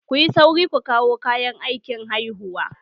Kuyi sauri ku kawo kayan aikin haihuwa!